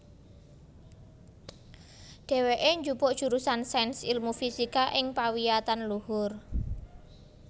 Dhèwèké njupuk jurusan Sains Ilmu Fisika ing pawiyatan luhur